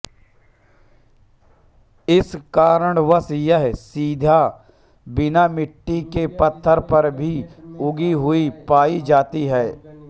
इस कारणवश यह सीधा बिना मिट्टी के पत्थर पर भी उगी हुई पाई जाती है